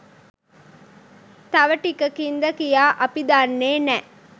තව ටිකකින්ද කියා අපි දන්නේ නෑ.